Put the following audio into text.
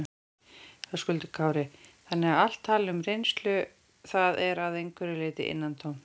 Höskuldur Kári: Þannig að allt tal um reynslu, það er að einhverju leyti innantómt?